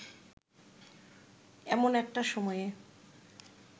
এমন একটা সময়ে